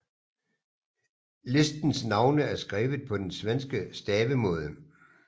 Listens navne er skrevet på den svenske stavemåde